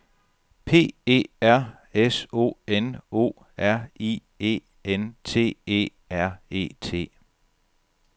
P E R S O N O R I E N T E R E T